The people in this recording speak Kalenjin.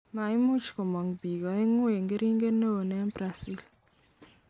Maimuch komog peek aeng eng keringet neo eng Brazil